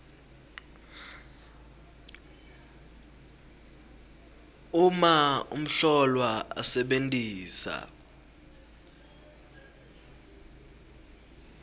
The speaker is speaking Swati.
uma umhlolwa asebentisa